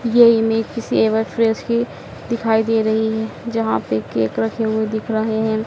यह इमेज किसी ever fresh की दिखाई दे रही है। जहां पर केक रखे हुए दिख रहे हैं।